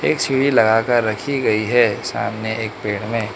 एक सीढ़ी लगा कर रखी गई है सामने एक पेड़ में।